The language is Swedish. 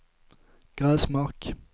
Gräsmark